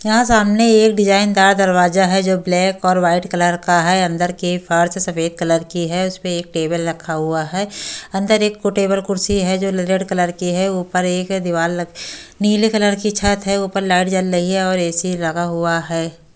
यहां सामने एक डिजाइनदार दरवाजा है जो ब्लैक और वाइट कलर का है अंदर की फर्स सफेद कलर की है उस पे एक टेबल रखा हुआ है अंदर एक को टेबल कुर्सी है जो रेड कलर की है ऊपर एक दीवार ल नीले कलर की छत है ऊपर लाइट जल रही है और ए_सी लगा हुआ है।